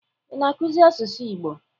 Ị na-akụzi asụsụ Igbo?